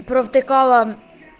провтыкала